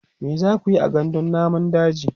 me zakuyi a gandun namun daji?